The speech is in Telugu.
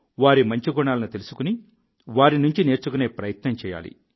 వారి మంచి గుణాలను తెలుసుకుని వారి నుంచి నేర్చుకునే ప్రయత్నం చేయాలి